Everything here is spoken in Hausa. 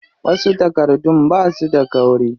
Wasu takardun basu da kauri.